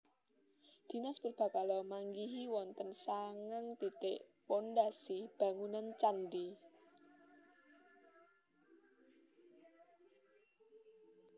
Dinas Purbakala manggihi wonten sangang titik pondhasi bangunan candhi